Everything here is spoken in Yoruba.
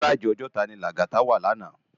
Inú gáráji Òjòtá ni Lagata wá làná